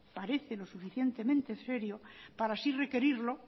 parece lo suficientemente serio para así requerirlo